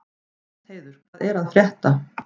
Gestheiður, hvað er að frétta?